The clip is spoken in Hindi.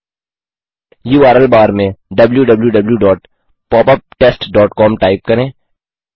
यूआरएल बार में wwwpopuptestcom टाइप करें